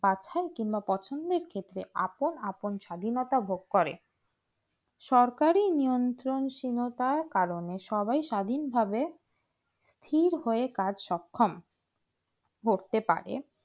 বাছাই কিংবা পছন্দের ক্ষেত্রে আপন আপন স্বাধীনতা ভোগ করে সরকারি নিয়ন্ত সীনতার কারণে সবাই স্বাধীন ভাবে স্থির হয়ে কাজ সক্ষম করতে পারে